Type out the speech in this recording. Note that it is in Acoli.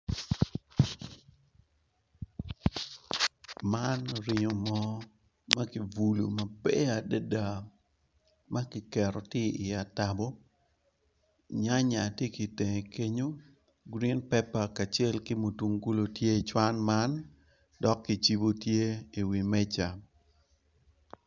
Man oringa mo makibulo maber adada makiketo tye i atabo nyanya tye ki tenge kenyo green paper kacel ki mutungulu tye icuwan man dok kicibo tye i wi meca.